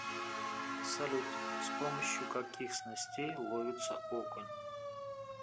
салют с помощью каких снастей ловится окунь